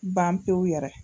Ban pewu yɛrɛ